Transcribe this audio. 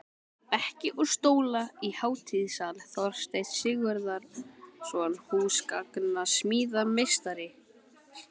Bekki og stóla í hátíðasal: Þorsteinn Sigurðsson, húsgagnasmíðameistari.